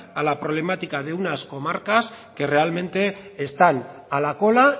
a la problemática de unas comarcas que realmente están a la cola